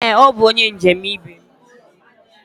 Ee, ọ bụ onye njem ibe m.